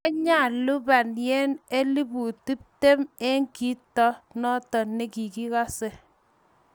Kyalupan Yen elubut tuptem eng kito noto nekikase